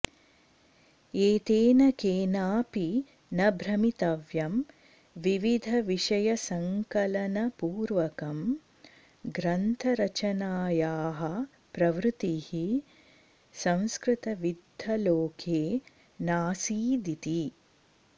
एतेन केनापि न भ्रमितव्यं विविधविषयसंकलनपूर्वकं ग्रन्थरचनायाः प्रवृत्तिः संस्कृतविद्वल्लोके नासीदिति